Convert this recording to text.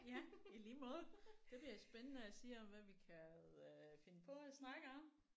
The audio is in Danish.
Ja i lige måde. Det bliver spændende at se om hvad vi kan øh finde på at snakke om